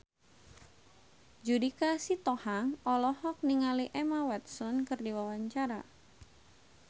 Judika Sitohang olohok ningali Emma Watson keur diwawancara